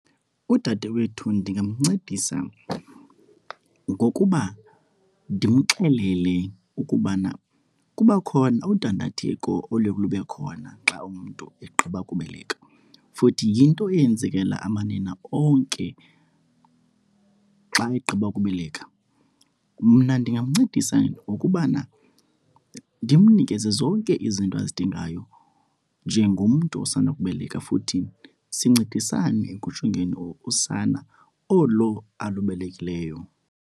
Udade wethu ndingamncedisa ngokuba ndimxelele ukubana kuba khona udandatheko oluye lube khona xa umntu egqiba kubeleka futhi yinto eyenzekela amanina onke xa egqiba kubeleka. Mna ndingamncedisa ngokubana ndimnikeze zonke izinto azidingayo njengomntu osanda kubeleka futhi sincedisane ekujongeni usana olo alubekelweyo.